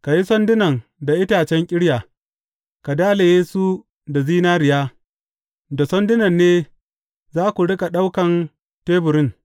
Ka yi sandunan da itacen ƙirya, ka dalaye su da zinariya, da sandunan ne za ku riƙa ɗaukan teburin.